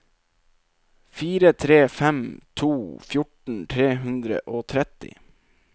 fire tre fem to fjorten tre hundre og tretti